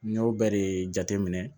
N y'o bɛɛ de jateminɛ